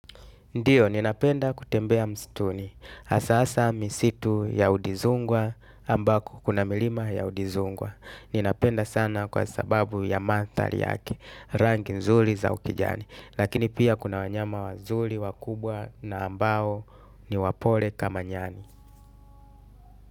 Ndiyo, ninapenda kutembea msituni. Hasa hasa misitu ya udizongwa ambapo kuna milima ya udizongwa ninapenda sana kwa sababu ya mandhari yake, rangi nzuri za ukijani. Lakini pia kuna wanyama wazuri wakubwa na ambao ni wapole kama nyani.